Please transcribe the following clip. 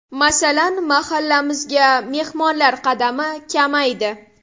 Masalan, mahallamizga mehmonlar qadami kamaydi.